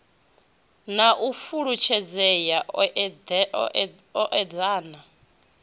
na u fhulufhedzea u eḓana